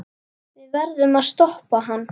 Við verðum að stoppa hann.